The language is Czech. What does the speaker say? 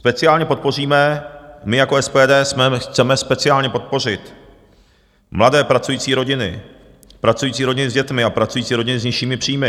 Speciálně podpoříme, my jako SPD chceme speciálně podpořit mladé pracující rodiny, pracující rodiny s dětmi a pracující rodiny s nižšími příjmy.